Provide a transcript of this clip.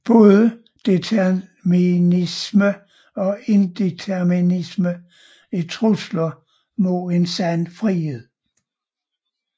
Både determinisme og indeterminisme er trusler mod en sådan frihed